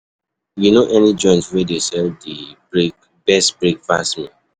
You know any joint wey dey sell di best breakfast meal?